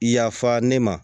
Yafa ne ma